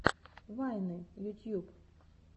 вайны ютьюб